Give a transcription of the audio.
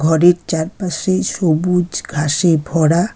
বাড়ির চারপাশে সবুজ ঘাসে ভরা।